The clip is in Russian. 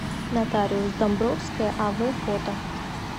нотариус домбровская ав фото